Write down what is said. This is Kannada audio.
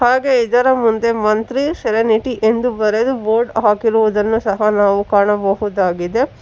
ಹಾಗೆ ಇದರ ಮುಂದೆ ಮಂತ್ರಿ ಸೆರೆನಿಟಿ ಎಂದು ಬರೆದು ಬೋರ್ಡ್ ಹಾಕಿರುವುದನ್ನು ಸಹಾ ನಾವು ಕಾಣಬಹುದಾಗಿದೆ.